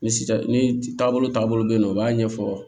Ni sisan ni taabolo taabolo bɛ yen nɔ u b'a ɲɛfɔ